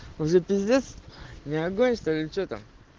уже пиздец не огонь что ли че там